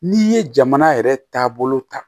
N'i ye jamana yɛrɛ taabolo ta